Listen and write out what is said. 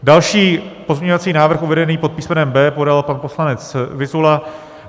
Další pozměňovací návrh uvedený pod písmenem B podal pan poslanec Vyzula.